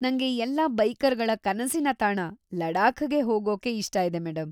ನಂಗೆ ಎಲ್ಲಾ ಬೈಕರ್‌ಗಳ ಕನಸಿನ ತಾಣ ಲಡಾಖ್‌ಗೆ ಹೋಗೋಕೆ ಇಷ್ಟ ಇದೆ ಮೇಡಂ.